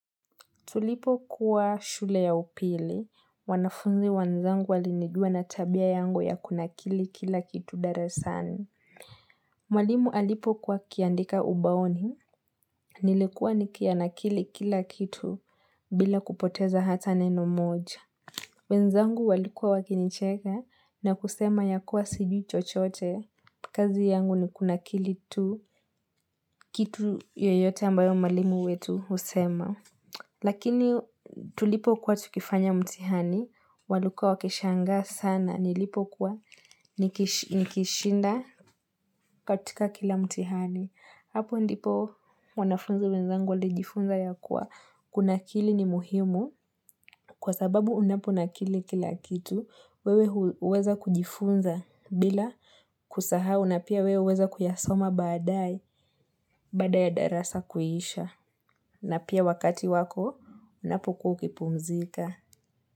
Tulipokua shule ya upili, wanafunzi wenzangu wali nijua na tabia yangu ya kunakili kila kitu darasani. Malimu alipo kuwa akiandika ubaoni, nilikuwa nikianakili kila kitu bila kupoteza hata neno moja. Wenzangu walikuwa wakinicheka na kusema ya kuwa sijui chochote kazi yangu ni kunakili tu kitu yoyote ambayo mwalimu wetu husema. Lakini tulipokuwa tukifanya mtihani, walikua wakishangaa sana, nilipokuwa nikishinda katika kila mtihani. Hapo ndipo wanafunzi wenzangu walijifunza ya kuwa kunakili ni muhimu kwa sababu unapo nakili kila kitu, wewe huweza kujifunza bila kusahau na pia wewe huweza kuyasoma badaae baada ya darasa kuisha. Na pia wakati wako, unapokuwa kipumzika.